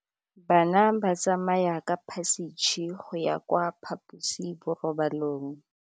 Bana ba tsamaya ka phašitshe go ya kwa phaposiborobalong.